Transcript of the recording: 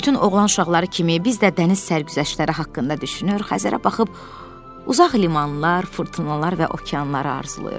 Bütün oğlan uşaqları kimi biz də dəniz sərgüzəştləri haqqında düşünür, Xəzərə baxıb uzaq limanlar, fırtınalar və okeanları arzulayırdıq.